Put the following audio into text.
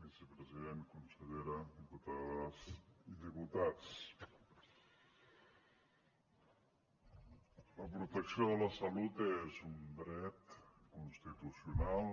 vicepresident consellera diputades i diputats la protecció de la salut és un dret constitucional